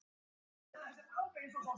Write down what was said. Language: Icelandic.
Hart dobl.